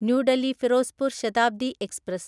new Delhi Firozpur Shatabdi express